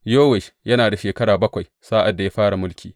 Yowash yana da shekara bakwai sa’ad da ya fara mulki.